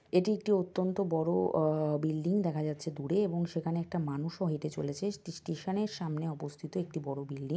এটি একটি অত্যন্ত বড়ো আহ বিল্ডিং দেখা যাচ্ছে দূরে এবং সেখানে একটা মানুষও হেঁটে চলেছে স্টে-স্টে-স্টেশনের সামনে অবস্থিত একটি বড়ো বিল্ডি ।